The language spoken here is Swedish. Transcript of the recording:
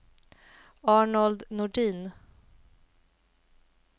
Arnold Nordin